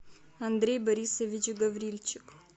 андрей борисович гаврильчик